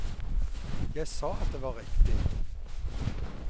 Jeg sa at det var riktig.